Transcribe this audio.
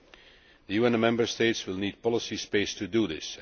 The EU and the Member States will need policy space to do this.